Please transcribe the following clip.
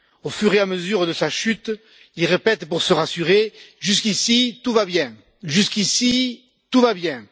Au fur et à mesure de sa chute, il répète, pour se rassurer jusqu'ici tout va bien, jusqu'ici tout va bien.